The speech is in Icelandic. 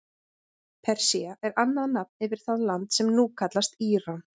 Persía er annað nafn yfir það land sem nú kallast Íran.